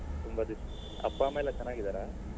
ತುಂಬಾ ದಿವ್ಸ ಅಪ್ಪ ಅಮ್ಮ ಎಲ್ಲ ಚೆನ್ನಾಗಿದ್ದಾರಾ?